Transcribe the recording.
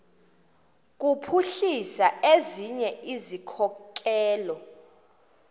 kuphuhlisa ezinye izikhokelo